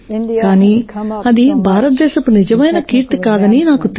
కానీ అది భారతదేశపు నిజమైన కీర్తి కాదని నాకు తెలుసు